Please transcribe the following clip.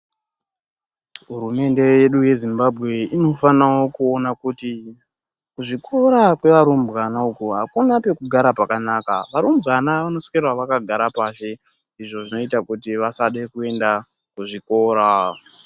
Hurumende yedu yeZimbabwe inofana kuwona kuti zvikora kwevarumbwana uko, hakuna pekugara pakanaka. Varumbwana vanoswera vakagara pazhe. Izvo zvinoita kuti vasade kuenda kuzvikora.